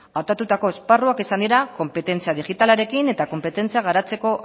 hautatutako esparruak izan dira konpetentzia digitalarekin eta konpetentzia garatzeko